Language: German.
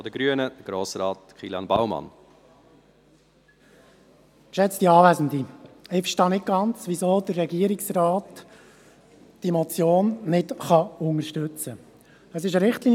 Ich verstehe nicht ganz, weshalb der Regierungsrat diese Motion nicht unterstützen kann.